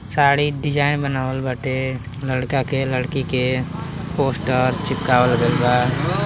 sari design बनावल बाटे| लड़का के लड़की के पोस्टर चिपकावल गइल बा|